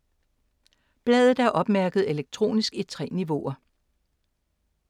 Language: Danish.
Bladet er opmærket elektronisk i 3 niveauer.